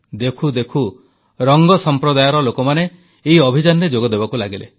ଦେଖୁ ଦେଖୁ ରଙ୍ଗ ସମ୍ପ୍ରଦାୟର ଲୋକମାନେ ଏଇ ଅଭିଯାନରେ ଯୋଗଦେବାକୁ ଲାଗିଲେ